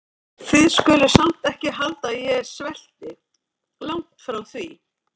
Þið skuluð samt ekki halda að ég svelti- langt því frá.